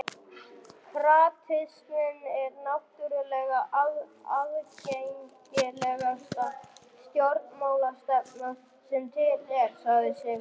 Kratisminn er náttúrlega aðgengilegasta stjórnmálastefna sem til er, sagði Sigurður.